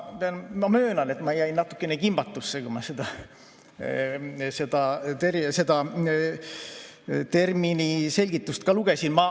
Ma möönan, et ma sattusin natukene kimbatusse, kui ma seda termini selgitust lugesin.